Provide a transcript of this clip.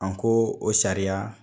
A ko o sariya